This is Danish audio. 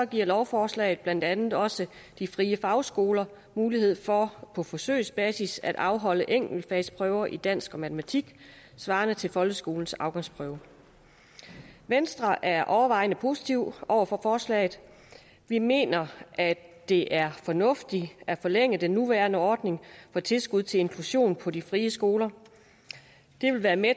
giver lovforslaget blandt andet også de frie fagskoler mulighed for på forsøgsbasis at afholde enkeltfagsprøver i dansk og matematik svarende til folkeskolens afgangsprøve venstre er overvejende positiv over for forslaget vi mener at det er fornuftigt at forlænge den nuværende ordning for tilskud til inklusion på de frie skoler det vil være med